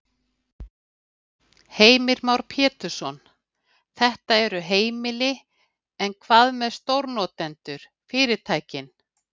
Heimir Már Pétursson: Þetta eru heimili, en hvað með stórnotendur, fyrirtækin?